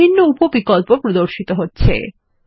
বিভিন্ন উপ বিকল্প প্রদর্শিত হচ্ছে